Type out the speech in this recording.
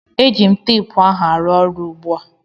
Eji m teepu ahụ arụ ọrụ ugbu a